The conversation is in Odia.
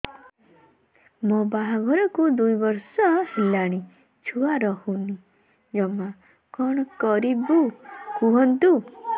ମୋ ବାହାଘରକୁ ଦୁଇ ବର୍ଷ ହେଲାଣି ଛୁଆ ରହୁନି ଜମା କଣ କରିବୁ କୁହନ୍ତୁ